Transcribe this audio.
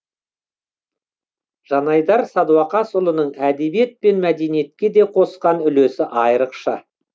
жанайдар садуақасұлының әдебиет пен мәдениетке де қосқан үлесі айрықша